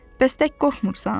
Bəs tək qorxmursan?